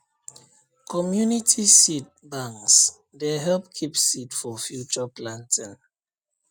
community seed banks dey help keep seed for future planting